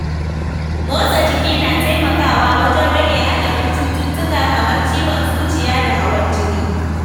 Motsa jiki na taimakawa wajen rage haɗarin cututtuka kamar ciwon zuciya da hawan jini.